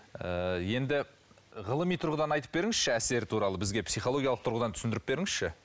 ыыы енді ғылыми тұрғыдан айтып беріңізші әсері туралы бізге психологиялық тұрғыдан түсіндіріп беріңізші